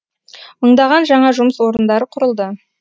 мыңдаған жаңа жұмыс орындары құрылды